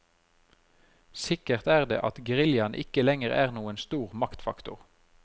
Sikkert er det at geriljaen ikke lenger er noen stor maktfaktor.